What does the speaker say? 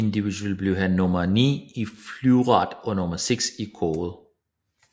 Individuelt blev han nummer ni i fleuret og nummer seks i kårde